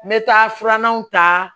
N bɛ taa filanan ta